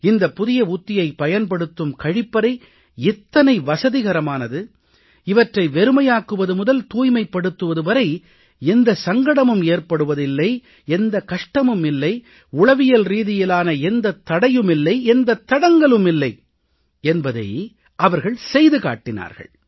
இந்தப் புதிய உத்தியைப் பயன்படுத்தும் கழிப்பறை எத்தனை வசதிகரமானது இவற்றை வெறுமையாக்குவது முதல் தூய்மைப்படுத்துவது வரை எந்த சங்கடமும் ஏற்படுவது இல்லை எந்த கஷ்டமும் இல்லை உளவியல்ரீதியிலான எந்தத் தடையும் இல்லை எந்தத் தடங்கலும் இல்லை என்பதை அவர்கள் செய்து காட்டினார்கள்